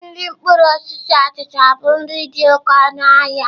Nri mkpụrụ osisi achịcha bụ nri dị oke ọnụ.